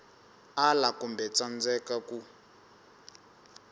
ala kumbe ku tsandzeka ku